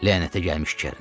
Lənətə gəlmiş Kerin!